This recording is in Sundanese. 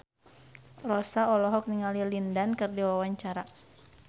Rossa olohok ningali Lin Dan keur diwawancara